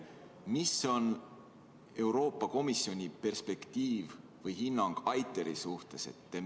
Mis on Euroopa Komisjoni hinnang ITER-i suhtes?